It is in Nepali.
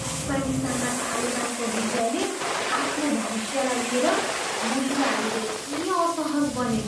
अफगानिस्तानमा तालिबानको विजयले आफ्नो भविष्यलाई लिएर महिलाहरू धेरै असहज बने।